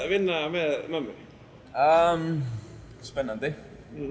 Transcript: vinna með mömmu spennandi